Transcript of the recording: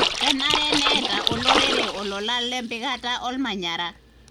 kenare neeta olorere olola lempikata olmanyara.